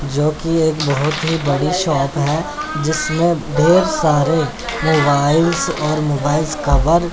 जोकि एक बहुत ही बड़ी शॉप है जिसमें ढेर सारे मोबाइल्स और मोबाइल्स कवर --